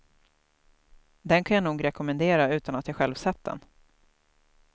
Den kan jag nog rekommendera utan att jag själv sett den.